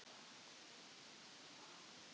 Í guðanna bænum ekki segja þetta.